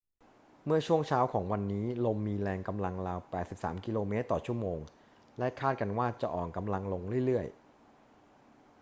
เมื่อช่วงเช้าของวันนี้ ลมมีแรงกำลังราว 83 กม./ชม. และคาดกันว่าจะอ่อนกำลังลงเรื่อย ๆ